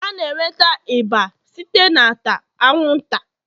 A na-enweta ịba site n'ata anwụnta